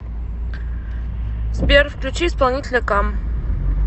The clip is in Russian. сбер включи исполнителя кам